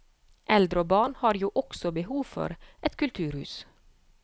Eldre og barn har jo også behov for et kulturhus.